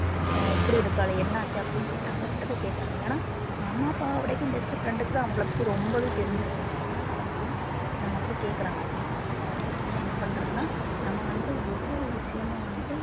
ஆஹ் இப்படி இருக்காளே என்னாச்சு அப்படின்னு சொல்லிட்டு அவகிட்டதான் கேட்கிறாங்க ஏன்னா அம்மா அப்பாவை விடவும் best friend க்குதான் அவங்களை பத்தி ரொம்பவே தெரிஞ்சிருக்கும். அதனால அவங்க வந்து அந்த மாதிரி கேட்கிறாங்க அதனால என்ன பண்றதுன்னா நம்ம வந்து ஒவ்வொரு விஷயமும் வந்து